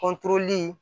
Kɔntoli